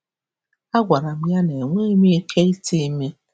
Agwara m ya na enweghị m ike ite ime.